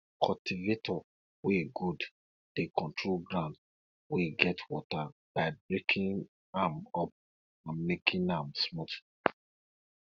cultivator wey good dey control ground wey get water by breaking am up and making am smooth